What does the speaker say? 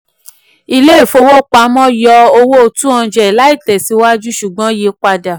ilé ìfowopamọ́ yọ owó two hundred láìtẹ̀síwájú ṣùgbọ́n yí padà.